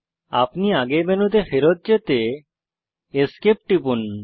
আপনি আগের মেনুতে ফেরৎ যেতে Esc টিপুন